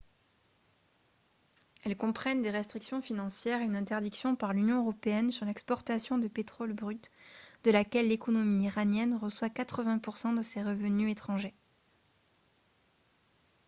elles comprennent des restrictions financières et une interdiction par l'union européenne sur l'exportation de pétrole brut de laquelle l'économie iranienne reçoit 80 % de ses revenus étrangers